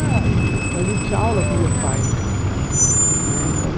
Então a gente tinha aula com meu pai em casa né então.